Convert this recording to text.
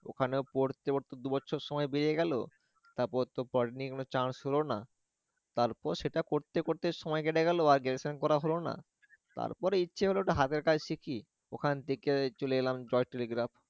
ওখানেও পরতে পরতে দুবছর সময় পেরিয়ে গেল, তারপর তো polytechnic এ কোন chance হলো না, তারপর সেটা পড়তে পড়তে সময় কেটে গেল আর graduation করা হল না, তারপর ইচ্ছে একটা হাতের কাজ শিখি ওখান থেকে চলে এলাম চট্টগ্রাম